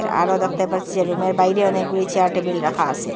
আরও দেখতে পাচ্ছি রুমের বাইরে অনেকগুলি চেয়ার টেবিল রাখা আসে ।